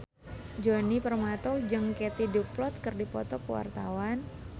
Djoni Permato jeung Katie Dippold keur dipoto ku wartawan